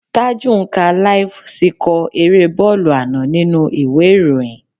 Taju ń ka láíf síkọ̀ erée bọ́ọ̀lù àná nínú ìwé ìròyìn